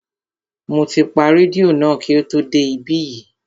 Mo ti pa rédíò náà kí o tó dé ibí yìí